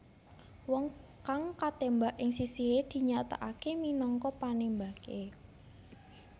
Wong kang katembak ing sisihe dinyatakake minangka panembake